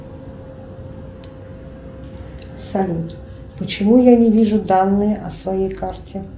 салют почему я не вижу данные о своей карте